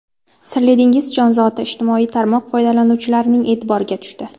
Sirli dengiz jonzoti ijtimoiy tarmoq foydalanuvchilarining e’tiboriga tushdi.